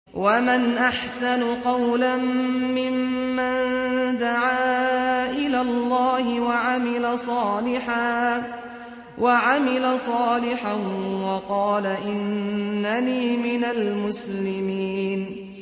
وَمَنْ أَحْسَنُ قَوْلًا مِّمَّن دَعَا إِلَى اللَّهِ وَعَمِلَ صَالِحًا وَقَالَ إِنَّنِي مِنَ الْمُسْلِمِينَ